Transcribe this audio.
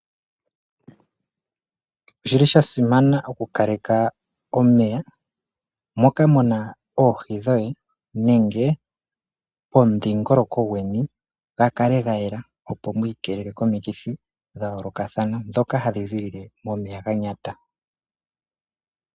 Oshili shasimana okukaleka omeya moka muna oohi dhoye nenge pomudhingoloko gweni gakale gayela, opo mwiikelele komikithi dhayoolokathana ndhoka hadhi ziilile momeya ganyata.